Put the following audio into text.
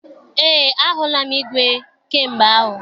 Eé, ahụla m igwe kamgbe ahụ.